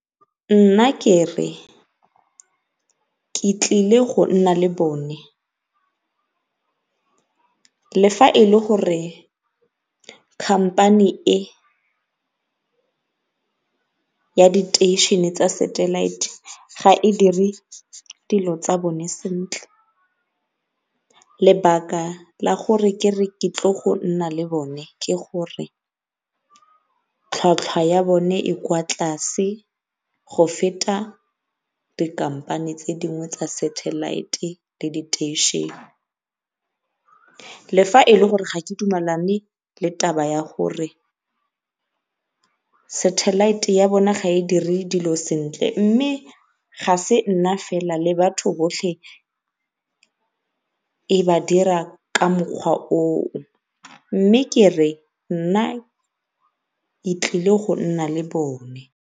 Nna kere, ke tlile go nna le bone le fa e le gore company e, ya diteishene tsa satellite ga e dire dilo tsa bone sentle. Lebaka la gore kere ke tlile go nna le bone ke gore tlhwatlhwa ya bone e kwa tlase go feta di tse dingwe tsa satellite le diteishene. Le fa e le gore ga ke dumalane le taba ya gore satellite ya bone ga e dire dilo sentle, mme ga e se nna fela le batho botlhe e ba dira ka mokgwa oo mme kere nna ke tlile go nna le bone.